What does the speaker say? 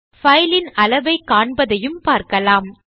file இன் அளவை காண்பதையும் பார்க்கலாம்